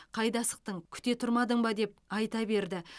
қайда асықтың күте тұрмадың ба деп айта берді